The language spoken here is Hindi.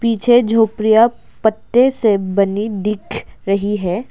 पीछे झोपर्या पत्ते से बनी दिख रही है।